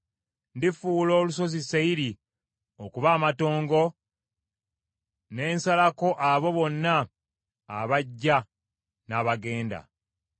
Ndifuula olusozi Seyiri okuba amatongo, ne nsalako abo bonna abajja n’abagenda.